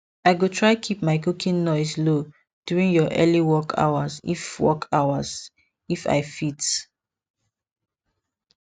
i go try keep my cooking noise low during your early work hours if work hours if i fit